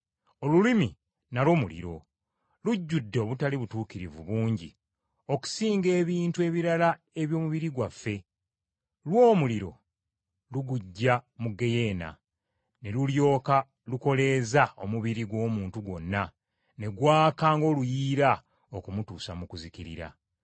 Olulimi nalwo muliro. Lujjudde obutali butuukirivu bungi okusinga ebitundu ebirala eby’omubiri gwaffe. Lwo omuliro luguggya mu ggeyeena, ne lulyoka lukoleeza omubiri gw’omuntu gwonna ne gwaka ng’oluyiira okumutuusa mu kuzikirira.